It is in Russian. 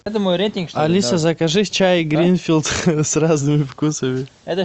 алиса закажи чай гринфилд с разными вкусами